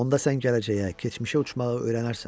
Onda sən gələcəyə, keçmişə uçmağı öyrənərsən.